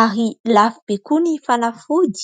ary lafo be koa ny fanafody.